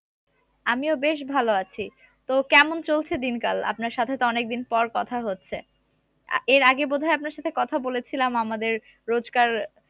আমিও বেশ ভালো আছি তো কেমন চলছে দিন কাল আপনার সাথে তো অনেকদিন পর কথা হচ্ছে এর আগে তো বোধহয় আপনার সাথে কথা বলেছিলাম আমাদের রোজগার